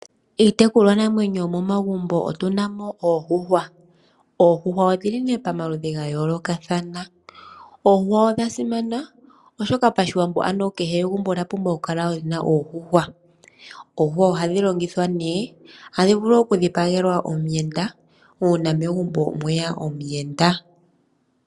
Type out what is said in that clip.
Iitekulwa namwenye yomomagumbo otuna mo oondjuhwa, oondjuhwa odhili pamaludhi ga yoolokathana. Oondjuhwa odha simana oshoka pashiwambo kehe egumbo olya pumbwa oku kala lyina oondjuhwa. Oondjuhwa ohadhi longithwa ne hadhi vulu oku dhipagelwa omuyenda uuna megumbo mweya omuyenda.